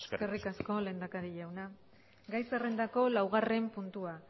eskerrik asko eskerrik asko lehendakari jauna gai zerrendako laugarren puntua